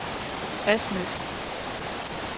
Asnæs